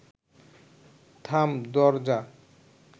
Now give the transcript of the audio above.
থাম দরজা